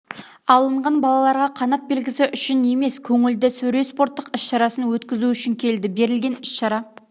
алынған балаларға қанат белгісі үшін емес көңілді сөре спорттық іс-шарасын өткізу үшін келді берілген іс-шара